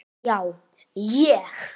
Já, ég.